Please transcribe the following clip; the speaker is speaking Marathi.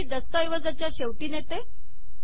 मी ही या दस्तऐवजाच्या शेवटी नेते